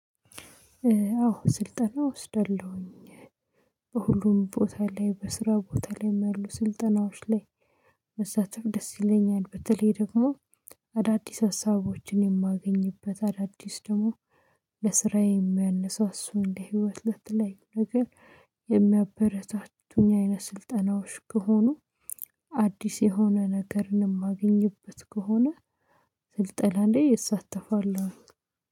አዎ ስልጠና ወስደለሁኝ። በሁሉም ቦታ ላይ በስራ ቦታ ላይ ያሉ ስልጠናዎች ላይ መሳተፍ ደስ ይለኛል በተለይ ደግሞ አዳዲስ ሀሳቦችን የማገኝበት አዳዲስ ደግሞ ለስራዬ የሚያነሳሱ እንደ ህይወት ለትለይ ነገር የሚያበረታቱኝ አይነት ስልጠናዎች ከሆኑ አዲስ የሆነ ነገርንም እማግኝበት ከሆነ ስልጠና ላይ እሳተፋለሁ